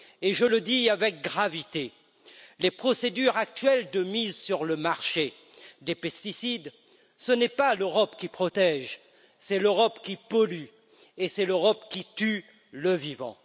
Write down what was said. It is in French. Je le dis avec gravité les procédures actuelles de mise sur le marché des pesticides, ce n'est pas l'Europe qui protège, c'est l'Europe qui pollue, et c'est l'Europe qui tue le vivant.